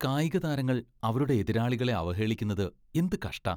കായികതാരങ്ങൾ അവരുടെ എതിരാളികളെ അവഹേളിക്കുന്നത് എന്തു കഷ്ടാ!